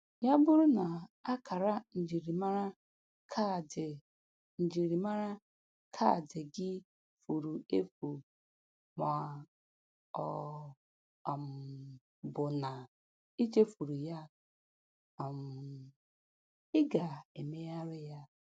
Ya bụrụ na akara njirimara kaadị njirimara kaadị gị furu efu ma ọ um bụ na i chefuru ya, um ị ga-emegharị ya